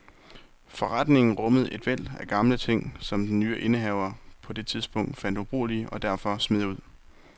Forretningen rummede et væld af gamle ting, som den nye indehaver på det tidspunkt fandt ubrugelige og derfor smed ud.